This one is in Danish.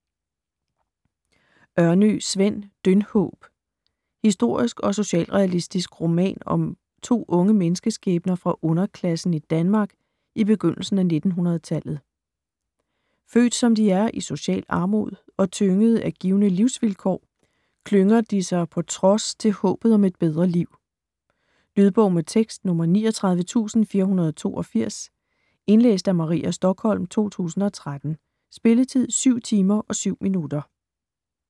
Ørnø, Sven: Dyndhåb Historisk og socialrealistisk roman om to unge menneskeskæbner fra underklassen i Danmark i begyndelsen af 1900-tallet. Født som de er i social armod, og tyngede af givne livsvilkår, klynger de sig på trods til håbet om et bedre liv. Lydbog med tekst 39482 Indlæst af Maria Stokholm, 2013. Spilletid: 7 timer, 7 minutter.